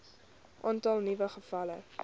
aantal nuwe gevalle